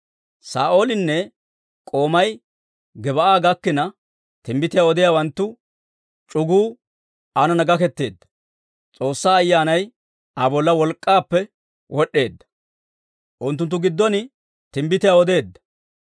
Saa'oolinne k'oomay Gib'aa gakkina, timbbitiyaa odiyaawanttu c'uguu aanana gaketeedda; S'oossaa Ayyaanay Aa bolla wolk'k'aappe wod'd'eedda; unttunttu giddon timbbitiyaa odeedda.